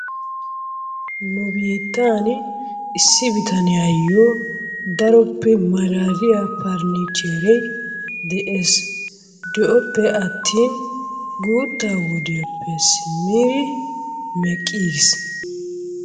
Nu biittan issi bitaniyayo daroppe malaaliyaa faranichere de'ees. De'oppe atin guuttaa wodiyappe simmiri meqqii giis.